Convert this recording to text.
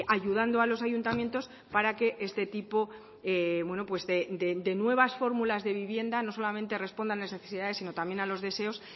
ayudando a los ayuntamientos para que este tipo de nuevas fórmulas de vivienda no solamente respondan a las necesidades sino también a los deseos